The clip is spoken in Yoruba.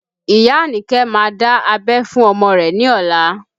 Iya Anike má dá abẹ́ fún ọmọ rẹ ní ọ̀la